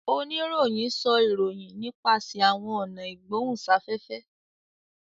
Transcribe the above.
Oníròhìn sọ ìròyìn nipasẹ àwọn ọnà igbohunsafẹfẹ